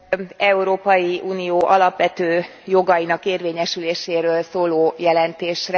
...Európai Unió alapvető jogainak érvényesüléséről szóló jelentésre.